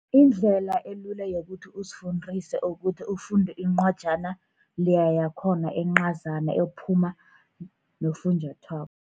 Indlela elula yokuthi uzifundise ukuthi ufunde incwajana leya yakhona encazana, ephuma nofunjathwako.